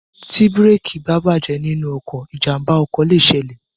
Ti bírèèkì bá bàjẹ́ nínú ọkọ̀, ìjàmbá ọkọ̀ lè ṣẹlẹ̀.